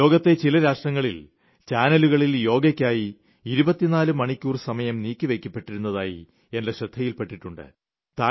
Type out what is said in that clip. ലോകത്തിലെ ചില രാഷ്ട്രങ്ങളിലെ ചാനലുകളിൽ യോഗയ്ക്കായി 24 മണിക്കൂർ സമയം നീക്കി വയ്ക്കപ്പെട്ടത് എന്റെ ശ്രദ്ധയിൽപ്പെട്ടിട്ടുണ്ട്